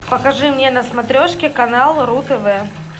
покажи мне на смотрешке канал ру тв